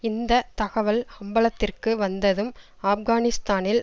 இந்த தகவல் அம்பலத்திற்கு வந்ததும் ஆப்கானிஸ்தானில்